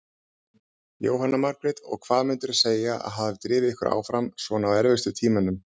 Jóhanna Margrét: Og hvað myndirðu segja að hafi drifið ykkur áfram svona á erfiðustu tímunum?